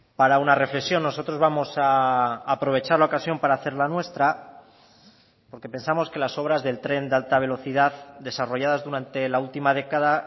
para una reflexión nosotros vamos a aprovechar la ocasión para hacer la nuestra porque pensamos que las obras del tren de alta velocidad desarrolladas durante la última década